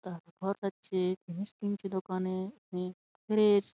জিনিস কিনছে দোকানে অনেক ফ্রেশ ।